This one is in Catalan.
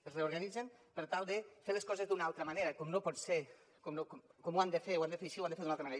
es reorganitzen per tal de fer les coses d’una altra manera com ho han de fer ho han de fer així ho han de fer d’una altra manera